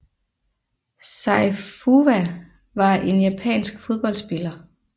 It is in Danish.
Sei Fuwa var en japansk fodboldspiller